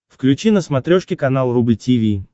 включи на смотрешке канал рубль ти ви